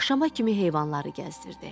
Axşama kimi heyvanları gəzdirdi.